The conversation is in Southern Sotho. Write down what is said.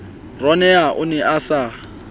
ronewa o ne a sa